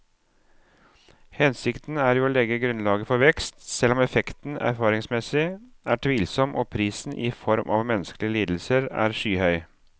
Hensikten er jo å legge grunnlaget for vekst, selv om effekten erfaringsmessig er tvilsom og prisen i form av menneskelige lidelser er skyhøy.